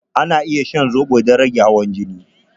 Ana iya shan zobo don rage hawan jini.